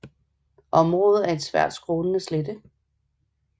Området er en svagt skrånende slette